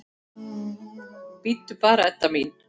Bíddu bara, Edda mín.